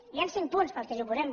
hi han cinc punts per què ens hi oposem